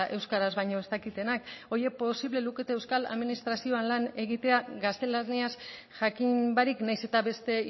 euskaraz baino ez dakitenak horiek posible lukete euskal administrazioan lan egitea gaztelaniaz jakin barik nahiz eta beste